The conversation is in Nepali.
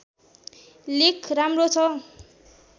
लेख राम्रो छ